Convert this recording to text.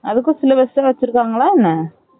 அதுக்கும் Syllabus எதும் வச்சிருக்காங்களா என்ன